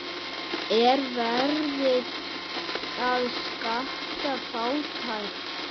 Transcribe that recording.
Er verið að skatta fátækt?